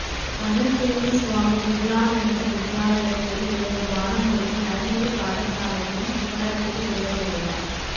மணல்சேனை சுவாமி விபுலானந்த வித்தியாலயத்தில் இயங்கும் பாலமுருகன் அறநெறிப் பாடசாலையின் சிவராத்திரி விரத விழா